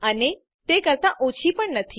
અને તે 40 કરતા ઓછી પણ નથી